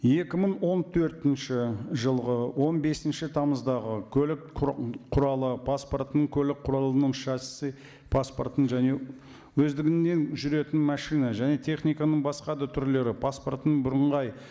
екі мың он төртінші жылғы он бесінші тамыздағы көлік құралы паспортының көлік құралының паспортын және өздігінен жүретін машина және техниканың басқа да түрлері паспортының бірыңғай